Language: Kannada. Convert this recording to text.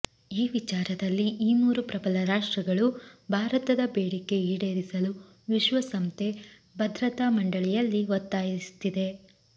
ಈ ವಿಚಾರದಲ್ಲಿ ಈ ಮೂರು ಪ್ರಬಲ ರಾಷ್ಟ್ರಗಳು ಭಾರತದ ಬೇಡಿಕೆ ಈಡೇರಿಸಲು ವಿಶ್ವಸಂಸ್ಥೆ ಭದ್ರತಾ ಮಂಡಳಿಯಲ್ಲಿ ಒತ್ತಾಯಿಸಿದೆ